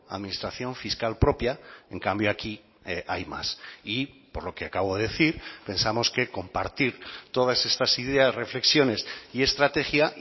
administración fiscal propia en cambio aquí hay más y por lo que acabo de decir pensamos que compartir todas estas ideas reflexiones y estrategia